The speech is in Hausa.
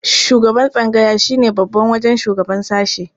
Shugaban tsangaya shi ne babba wajen shugaba sashe.